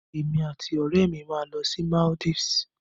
Èmi àti òrẹ́mi máa lọ sí Maldives